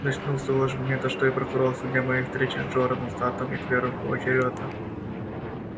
начну с того же момента что и прокурор со дня моей встречи с джораном саттом и твером поочерёдно